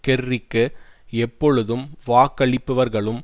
கெர்ரிக்கு எப்பொழுதும் வாக்களிப்பவர்களும்